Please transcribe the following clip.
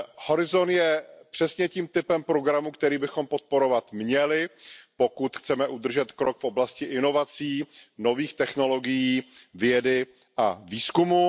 Horizont je přesně tím typem programu, který bychom podporovat měli, pokud chceme udržet krok v oblasti inovací, nových technologií, vědy a výzkumu.